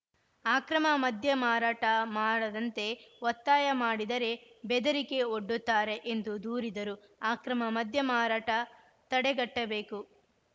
ಆಕ್ರಮ ಮದ್ಯಮಾರಾಟ ಮಾಡದಂತೆ ಒತ್ತಾಯ ಮಾಡಿದರೆ ಬೆದರಿಕೆ ಒಡ್ಡುತ್ತಾರೆ ಎಂದು ದೂರಿದರು ಆಕ್ರಮ ಮದ್ಯ ಮಾರಾಟ ತಡೆಗಟ್ಟಬೇಕು